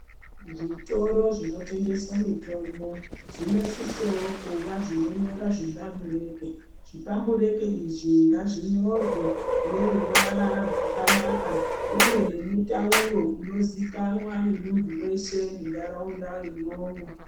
Zvitoro zvinotengeswa mitombo zvinosisawo kuvazvakanyora zvitamburete. Zvitamburete izvi ngazvinyorwe ngeruvara rwakanaka uye nemutauro unozikanwa ngemuntu weshe munharaunda mwo